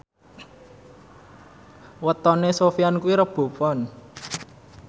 wetone Sofyan kuwi Rebo Pon